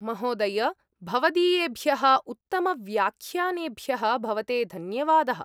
महोदय! भवदीयेभ्यः उत्तमव्याख्यानेभ्यः भवते धन्यवादः।